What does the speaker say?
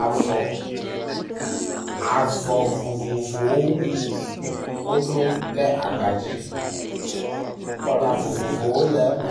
Avɔ. Avɔ vovovowo. Woɖo wo ɖe agbadzi. Kɔla vovovowo le eme